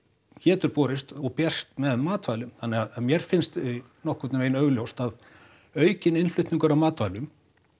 getur borist og berst með matvælum þannig að mér finnst nokkurn veginn augljóst að aukinn innflutningur á matvælum